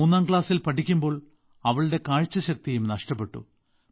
മൂന്നാം ക്ലാസ്സിൽ പഠിക്കുമ്പോൾ അവളുടെ കാഴ്ചശക്തിയും നഷ്ടപ്പെട്ടു